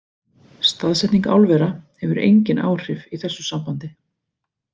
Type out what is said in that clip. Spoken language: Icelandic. Staðsetning álvera hefur engin áhrif í þessu sambandi.